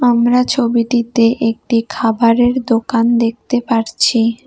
আমরা ছবিটিতে একটি খাবারের দোকান দেখতে পারছি।